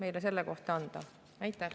Aitäh!